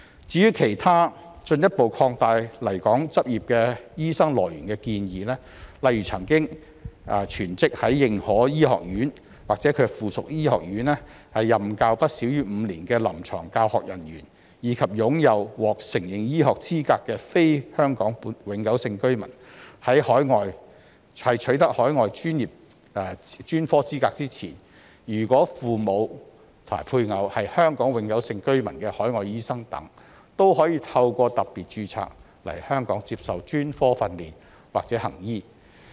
至於其他進一步擴大來港執業醫生來源的建議，例如曾經全職在認可醫學院，或其附屬醫學院任教不少於5年的臨床教學人員，以及擁有獲承認醫學資格的非香港永久性居民，在取得海外專科資格前，如果父母或配偶是香港永久性居民的海外醫生等，也可透過"特別註冊"來港接受專科訓練或行醫。